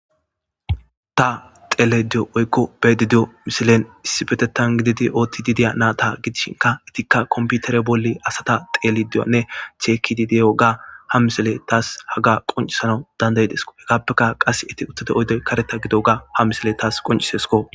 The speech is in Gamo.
ta xele diyo oykko bedi diyo misilen issibetettan gididi ootti dideya naa ta gidishinka etikka komputere bolli asata teelidioanne cheekidideyo ga ha misile taas haga qoncisanau dandayideso hegaappeka qas eti uttade oydoy kareta gido ga ha misile taas qoncisesko